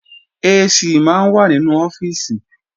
AC máa ń wà nínú ọ́fíìsì